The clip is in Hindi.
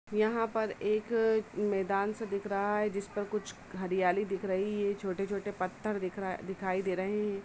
यहाँ पर एक मैदान सा दिख रहा है। जिस पर कुछ हरियाली दिख रही है। छोटे -छोटे पत्थर दिख रहा दिखाई दे रहे हैं।